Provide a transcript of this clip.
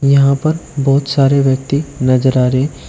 यहां पर बहुत सारे व्यक्ति नजर आ रहे--